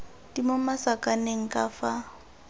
di mo masakaneng ka fa